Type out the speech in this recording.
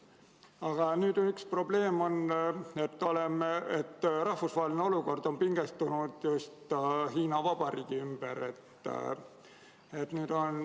Aga nüüd on üks probleem: rahvusvaheline olukord on pingestunud just Hiina Vabariigi ümber.